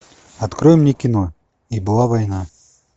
открой мне кино и была война